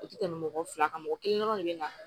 O tɛ tɛmɛ mɔgɔ fila kan mɔgɔ kelen dɔrɔn de bɛ na